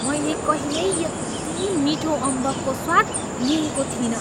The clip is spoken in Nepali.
मैले कहिल्यै यति मिठो अम्बकको स्वाद लिएको थिइनँ!